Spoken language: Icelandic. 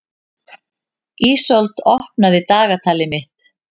Ísold, opnaðu dagatalið mitt.